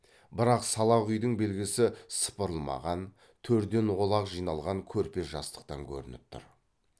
бірақ салақ үйдің белгісі сыпырылмаған төрден олақ жиналған көрпе жастықтан көрініп тұр